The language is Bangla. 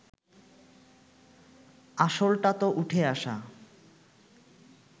আসলটা তো উঠে আসা